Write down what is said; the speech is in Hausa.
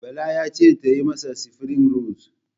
Bala ya ce tayi masa sifirig rols